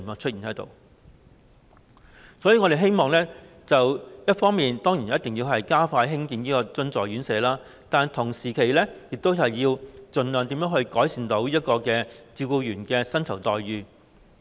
所以，一方面，我們希望一定要加快興建津助院舍，同時，亦希望要盡量改善照顧員的薪酬待遇。